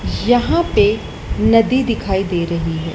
यहां पे नदी दिखाई दे रही है।